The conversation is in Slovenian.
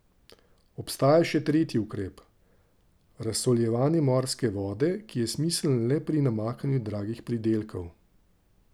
Obstaja še tretji ukrep, razsoljevanje morske vode, ki je smiseln le pri namakanju dragih pridelkov.